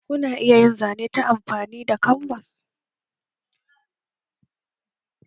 Ku na iya yin zane ta amfani da kanbas?